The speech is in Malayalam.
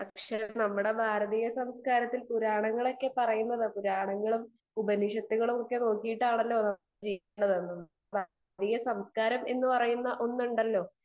സ്പീക്കർ 2 പക്ഷെ നമ്മളെ ഭാരതീയ സംസ്കാരത്തിൽ പുരാണങ്ങളൊക്കെ പറയാനുണ്ടല്ലോ പുരാണങ്ങളും ഉപനിഷത്തുകളും ഒക്കെ നോക്കിയിട്ടാണല്ലോ ജീവിക്കുന്നത് . ഈ സംസ്‍കാരം എന്ന് പറയുന്ന ഒന്നുണ്ടല്ലോ